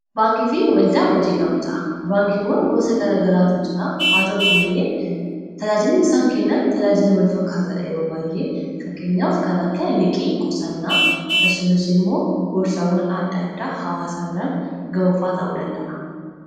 Baankiifi waldaa hojii gamtaa baankiiwwan gosa gara garaatu jiraa haata'uuti malee tajaajilli isaan kennan tajaajila walfakkaatadha yeroo baay'ee fakkeenyaaf kana akka liqii qusannaa akkasumas immoo gorsaawwan adda addaa hawaasaa biraan ga'uufaa ta'uu danda’a.